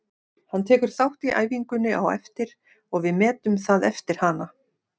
Hann tekur þátt í æfingunni á eftir og við metum það eftir hana.